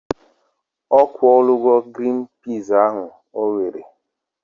Ọ kwọla gi ọgwọ grin piz ahu owere?